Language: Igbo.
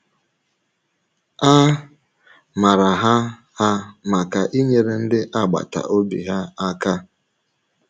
A mǎrà hà hà maka inyèrè ndị agbàtà ọ̀bì hà àkà.